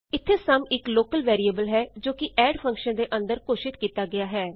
ਇਥੇ ਸੁਮ ਇਕ local variable ਹੈ ਜੋ ਕਿ ਐਡ ਫੰਕਸ਼ਨ ਦੇ ਅੰਦਰ ਘੋਸ਼ਿਤ ਕੀਤਾ ਗਿਆ ਹੈ